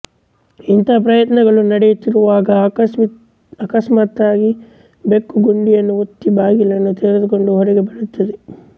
ಇಂಥ ಪ್ರಯತ್ನಗಳು ನಡೆಯುತ್ತಿರುವಾಗ ಅಕಸ್ಮಾತ್ತಾಗಿ ಬೆಕ್ಕು ಗುಂಡಿಯನ್ನು ಒತ್ತಿ ಬಾಗಿಲನ್ನು ತೆರೆದುಕೊಂದು ಹೊರಗೆ ಬರುತ್ತದೆ